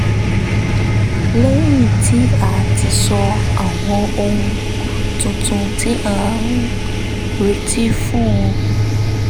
lẹ́yìn tí a ti sọ àwọn ohun tuntun tí a ń retí fún un